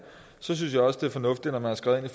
synes også det er fornuftigt at man har skrevet